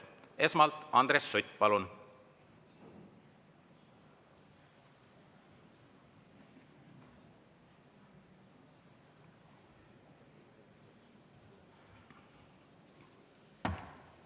Esmalt Andres Sutt, palun!